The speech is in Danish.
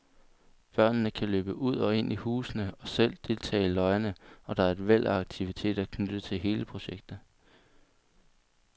Børnene kan løbe ud og ind i husene og selv deltage i løjerne, og der er et væld af aktiviteter knyttet til hele projektet.